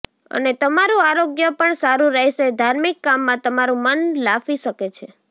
અને તમારું આરોગ્ય પણ સારું રહેશે ધાર્મિક કામમાં તમારું મન લાફી શકે છે